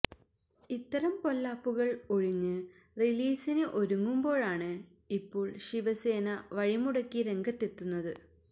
ഇത്തരം പൊല്ലാപ്പുകൾ ഒഴിഞ്ഞ് റിലീസിന് ഒരുങ്ങുമ്പോഴാണ് ഇപ്പോൾ ശിവസേന വഴിമുടക്കി രംഗത്തെത്തുന്നത്